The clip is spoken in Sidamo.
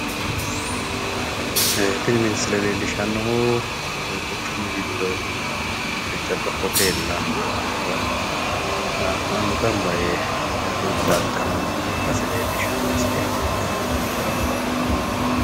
Ee tini misile leellishshannohu quchumu giddo jajjabba hotellara mannu gamba yee hurbaaxxanno base leellishshanno misileeti.